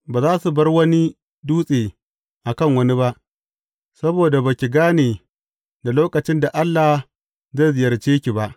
Ba za su bar wani dutse a kan wani ba, saboda ba ki gane da lokacin da Allah zai ziyarce ki ba.